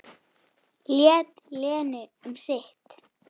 Lét Lenu um sitt.